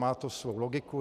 Mát to svou logiku.